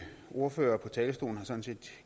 ordførere